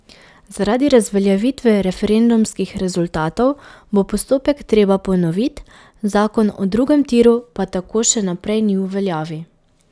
Zaradi razveljavitve referendumskih rezultatov bo postopek treba ponoviti, zakon o drugem tiru pa tako še naprej ni v veljavi.